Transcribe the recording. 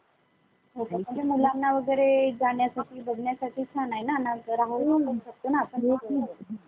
आवाज यायलाय काय?